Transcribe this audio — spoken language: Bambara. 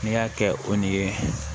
N'i y'a kɛ o ni